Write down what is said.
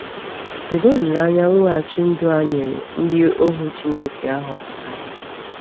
Kedu olileanya mweghachi ndụ a nyere ndị ohu Chineke a họpụtara?